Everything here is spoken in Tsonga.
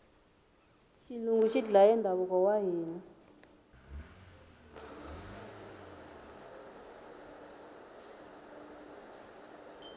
xilungu xi dlaye ndhavuko wa hina